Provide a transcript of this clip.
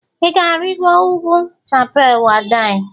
Ị ga-arịgo ugwu Chappal Waddi?